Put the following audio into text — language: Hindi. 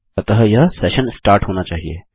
अतः यह सेशन स्टार्ट होना चाहिए